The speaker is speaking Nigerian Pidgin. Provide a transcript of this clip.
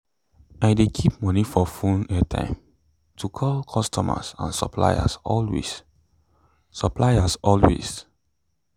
i dey keep moni for phone airtime to call customers and suppliers always suppliers always